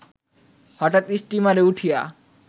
হঠাৎ স্টিমারে উঠিয়া